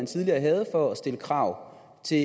tidligere var for at stille krav til